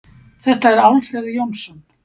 Þetta er Alfreð Jónsson.